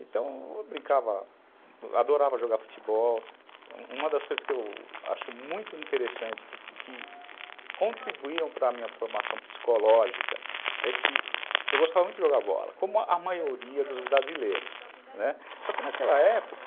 então eu brincava adorava jogar futebol uma das coisas que eu acho muito interessante que que contribuíram para minha formação psicológica é que eu gostava muito de jogar bola como a maioria dos brasileiros, né, só que naquela época